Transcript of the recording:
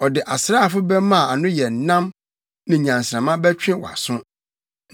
Ɔde asraafo bɛmma a ano yɛ nnam ne nnyansramma bɛtwe wʼaso.